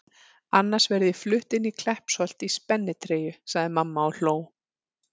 Annars verð ég flutt inn í Kleppsholt í spennitreyju sagði mamma og hló.